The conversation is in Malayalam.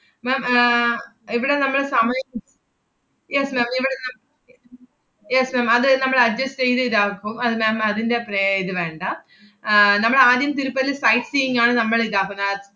ma'am ഏർ ഇവടെ നമ്മള് സമയം yes ma'am ഇവടെ നമ്മ~ yes ma'am അത് നമ്മള് adjust എയ്ത് ഇതാക്കും. അത് ma'am അതിന്‍റെ പ്രേ~ ഇത് വേണ്ട. ആഹ് നമ്മളാദ്യം തിരുപ്പതി sight seeing ആണ് നമ്മളിതാക്കുന്ന~